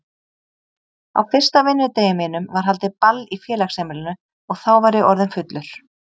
Á fyrsta vinnudegi mínum var haldið ball í félagsheimilinu og þá var ég orðinn fullur.